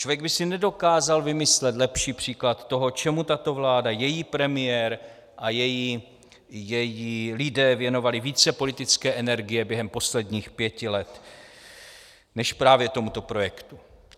Člověk by si nedokázal vymyslet lepší příklad toho, čemu tato vláda, její premiér a její lidé věnovali více politické energie během posledních pěti let než právě tomuto projektu.